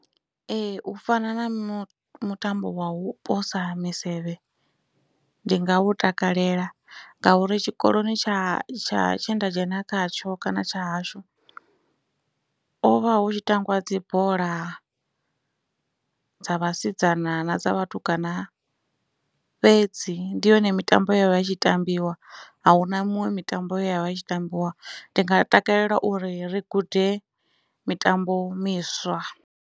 Ee u fana na mutambo wa u posa misevhe ndi nga u takalela ngauri tshikoloni tsha tsha tshe nda dzhena khatsho kana tsha hashu hovha hu tshi tambiwa dzibola dza vhasidzana na dza vhatukana fhedzi ndi yone mitambo ye yavha itshi tambiwa ahuna miṅwe mitambo ya vha itshi tambiwa ndi nga takalela uri ri gude mitambo miswa.